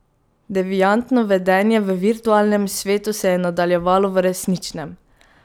Deviantno vedenje v virtualnem svetu se je nadaljevalo v resničnem.